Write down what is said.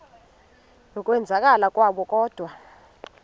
yokwenzakala kwabo kodwa